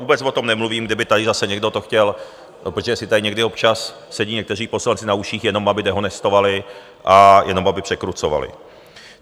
Vůbec o tom nemluvím, kdyby tady zase někdo to chtěl, protože si tady někdy občas sedí někteří poslanci na uších, jenom aby dehonestovali a jenom aby překrucovali.